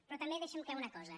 però també deixem clara una cosa